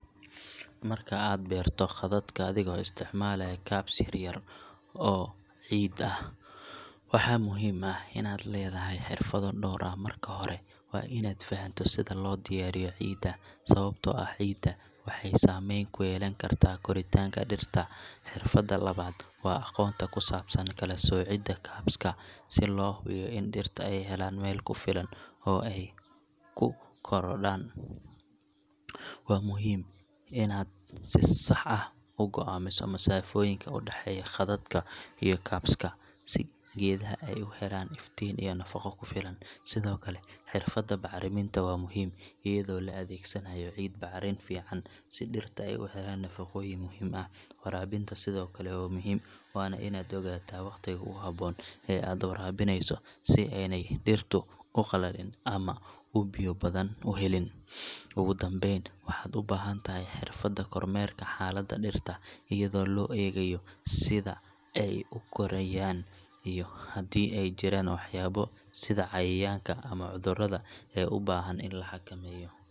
Marka aad beerto khadadka adigoo isticmaalaya cubs yar-yar oo ciid ah, waxaa muhiim ah in aad leedahay xirfado dhowr ah. Marka hore, waa in aad fahanto sida loo diyaariyo ciidda, sababtoo ah ciidda waxay saameyn ku yeelan kartaa koritaanka dhirta. Xirfadda labaad waa aqoonta ku saabsan kala-soocida cubs ka, si loo hubiyo in dhirta ay helaan meel ku filan oo ay ku korodhaan. Waa muhiim inaad si sax ah u go’aamiso masaafooyinka u dhaxeeya khadadka iyo cubs ka, si geedaha ay u helaan iftiin iyo nafaqo ku filan. Sidoo kale, xirfadda bacriminta waa muhiim, iyadoo la adeegsanayo ciid bacrin fiican si dhirta ay u helaan nafaqooyin muhiim ah. Waraabinta sidoo kale waa muhiim, waana inaad ogaataa waqtiga ugu haboon ee aad u waraabinayso si aanay dhirtu u qalalin ama u biyo badan u helin. Ugu dambeyn, waxaad u baahan tahay xirfadda kormeerka xaaladda dhirta, iyadoo loo eegayo sida ay u korayaan iyo haddii ay jiraan waxyaabo sida cayayaanka ama cudurrada ee u baahan in la xakameeyo.